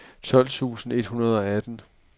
tolv tusind et hundrede og atten